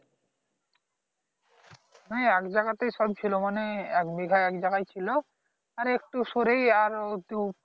না এক জাগাতেই সব ছিল মানে এক বিঘা একজায়গায় ছিল আর একটু সরেই আর .